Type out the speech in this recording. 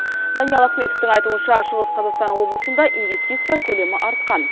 даниал ахметовтің айтуынша шығыс қазақстан облысында инвестиция көлемі артқан